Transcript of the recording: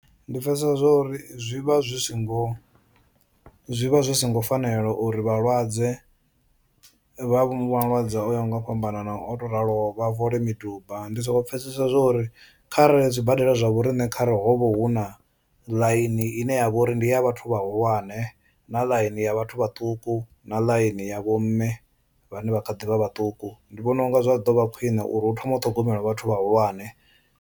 Ndi pfhesesa zwo uri zwi vha zwi si ngo zwi vha zwi so ngo fanela uri vhalwadze vha malwadze o yaho nga u fhambanana o tou raloho vha fole miduba. Ndi soko pfhesesa zwa uri kharali zwibadela zwa vho riṋe kharali ho vha hu na ḽaini ine ya vha uri ndi ya vhathu vhahulwane, na ḽaini ya vhathu vhaṱuku, na ḽaini ya vho mme vhane vha kha ḓi vha vhaṱuku ndi vhona unga zwa ḓo vha khwiṋe uri hu thome u ṱhogomela vhathu vhahulwane.